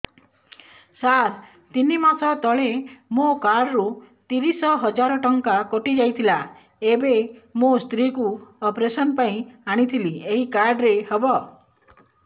ସାର ତିନି ମାସ ତଳେ ମୋ କାର୍ଡ ରୁ ତିରିଶ ହଜାର ଟଙ୍କା କଟିଯାଇଥିଲା ଏବେ ମୋ ସ୍ତ୍ରୀ କୁ ଅପେରସନ ପାଇଁ ଆଣିଥିଲି ଏଇ କାର୍ଡ ରେ ହବ